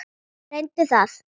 Reyndu það.